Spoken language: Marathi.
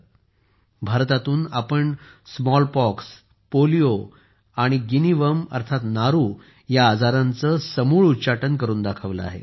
आपण भारतातून स्मॉलपॉक्स पोलिओ आणि गिनी वर्म या आजारांचे समूळ उच्चाटन करून दाखवले आहे